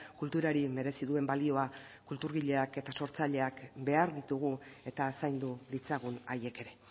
kulturari merezi duen balioa kulturgileak eta sortzaileak behar ditugu eta zaindu ditzagun haiek ere